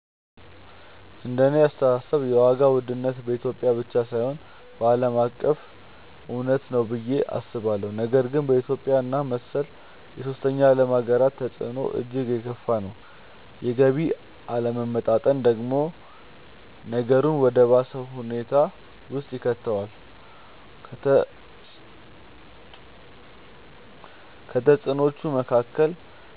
እንደኔ አስተሳሰብ የዋጋ ውድነት በኢትዮጵያ ብቻ ሳይሆን ዓለም አቀፍ እውነታ ነው ብዬ አስባለሁ፤ ነገር ግን በኢትዮጵያ እና መሰል የሶስተኛ ዓለም ሃገራት ተፅዕኖው እጅግ የከፋ ነው። የገቢ አለመመጣጠን ደግሞ ነገሩን ወደ ባሰ ሁኔታ ውስጥ ይከተዋል። ከተፅዕኖዎቹ መካከል፦